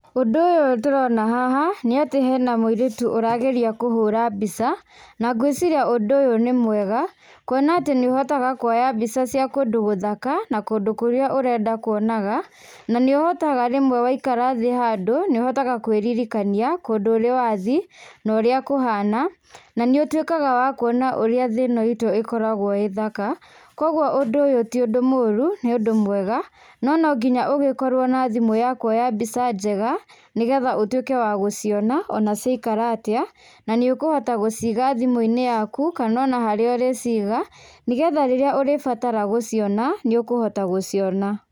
Ũndũ ũyũ tũrona haha nĩatĩ hena mũirĩtu ũrageria kũhũra mbica, na ngwĩciria ũndũ ũyũ nĩ mwega kuona atĩ nĩũhotaga kũoya mbica cia kũndũ gũthaka na kũndũ kũrĩa ũrenda kũonaga na nĩũhotaga rĩmwe waikara thĩĩ handũ, nĩũhotaga kwĩririkania kũndũ ũrĩ wathiĩ, norĩa kũhana, na nĩũtwĩkaga wa kuona ũrĩa thĩĩ ĩno itũ ĩkoragwo ĩ thaka, koguo ũndũ ũyũ ti ũndũ mũũru nĩ ũndũ mwega, nononginya ũgĩkorwo na thimũ ya kuoya mbica njega, nĩgetha ũtwĩke wa gũciona ona ciaikara atĩa na nĩũkũhota gũciiga thimũ-inĩ yaku kana ona harĩa ũrĩ ciiga, nĩgetha rĩrĩa ũrĩbatara gũciona nĩũkũhota gũciona.